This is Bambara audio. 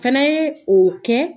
Fɛnɛ ye o kɛ